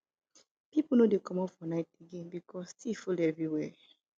pipo no dey comot for night again because tiff full everywhere